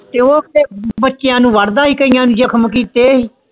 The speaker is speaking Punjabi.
ਤੇ ਓਦੇ ਬਚਾਅ ਨੂੰ ਵਾਰ ਦਾ ਕਾਇਆ ਨੂੰ ਜਖਮ ਕਿਥੇ